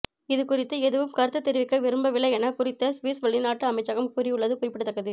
இது குறித்து எதுவும் கருத்து தெரிவிக்க விரும்பவில்லை என குறித்த சுவிஸ் வெளிநாட்டு அமைச்சகம் கூறியுள்ளது குறிப்பிடத்தக்கது